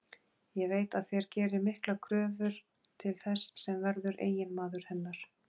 Ég veit að þér gerið miklar kröfur til þess sem verður eiginmaður hennar.